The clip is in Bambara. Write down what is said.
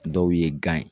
Dɔw ye gan ye